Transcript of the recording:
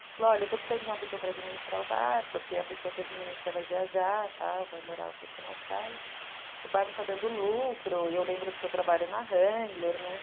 falou, olha, eu estou precisando de uma pessoa para administrar o bar, porque a pessoa que administra vai viajar, vai morar um tempo na Austrália, o bar não está dando lucro, e eu lembro do seu trabalho na Hangler, né?